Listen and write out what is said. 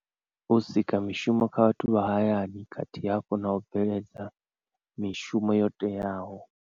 U sika mishumo kha vhathu vha hayani khathihi hafhu na u bveledza mishumo yo teaho.